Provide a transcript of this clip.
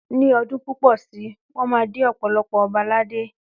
Ní ọdún púpọ̀ si, wọ́n máa dé ọ̀pọ̀lọpọ̀ ọba ládé